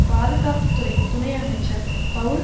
பாதுகாப்பு துறை துணை அமைச்சர் பெளல்